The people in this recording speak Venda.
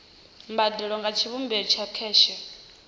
mbadelo nga tshivhumbeo tsha kheshe